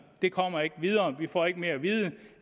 det kommer ikke videre vi får ikke mere at vide